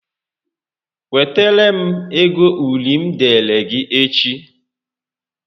Wetara m égo uri m deere gị echi